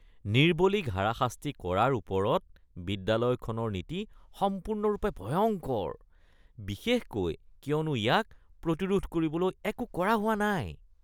নিৰ্বলীক হাৰাশাস্তি কৰাৰ ওপৰত বিদ্যালয়ৰ নীতি সম্পূৰ্ণৰূপে ভয়ংকৰ, বিশেষকৈ কিয়নো ইয়াক প্ৰতিৰোধ কৰিবলৈ একো কৰা হোৱা নাই।